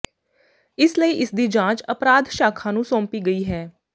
ਇਸ ਲਈ ਇਸਦੀ ਜਾਂਚ ਅਪਰਾਧ ਸ਼ਾਖਾ ਨੂੰ ਸੌਂਪੀ ਗਈ ਹੈ